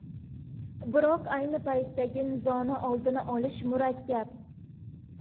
Biroq ayni paytdagi nizoni oldini olish murakkab.